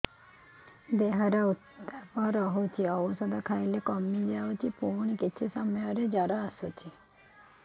ଦେହର ଉତ୍ତାପ ରହୁଛି ଔଷଧ ଖାଇଲେ କମିଯାଉଛି ପୁଣି କିଛି ସମୟ ପରେ ଜ୍ୱର ଆସୁଛି